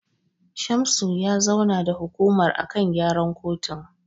Shamsu ya zauna da hukumar a kan gyaran kotun.